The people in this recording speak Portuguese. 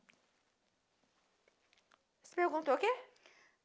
Você perguntou o quê?